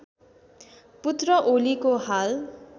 पुत्र ओलीको हाल